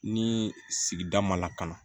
Ni sigida ma lakana